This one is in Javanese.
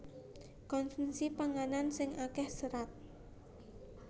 Konsumsi panganan sing akéh serat